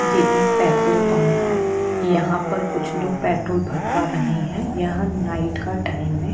ये एक petrol pump है यहाँ पर कुछ लोग पेट्रोल भरवा रहे है यहाँ नाईट का टाइम है।